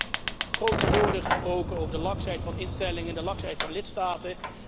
Er werden net grote woorden gesproken over de laksheid van instellingen en de laksheid van lidstaten.